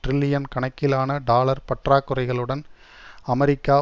trillion கணக்கிலான dollar பற்றாக்குறைகளுடன் America